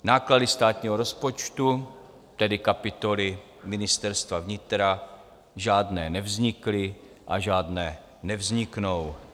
Náklady státního rozpočtu, tedy kapitoly Ministerstva vnitra, žádné nevznikly a žádné nevzniknou.